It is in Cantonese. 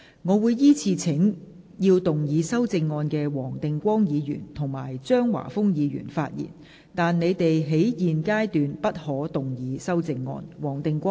我會依次請要動議修正案的黃定光議員及張華峰議員發言；但他們在現階段不可動議修正案。